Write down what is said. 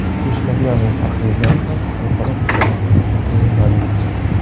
O‘smirlar va faxriylar ham xalqaro musobaqalarga qo‘yilmadi.